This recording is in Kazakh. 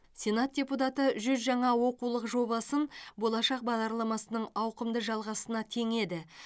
сенат депутаты жүз жаңа оқулық жобасын болашақ бағдарламасының ауқымды жалғасына теңеді